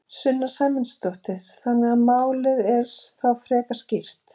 Sunna Sæmundsdóttir: Þannig að málið er þá frekar skýrt?